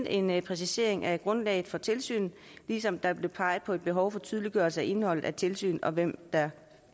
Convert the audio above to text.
en præcisering af grundlaget for tilsynet ligesom der blev peget på et behov for tydeliggørelse af indholdet af tilsynet og hvem der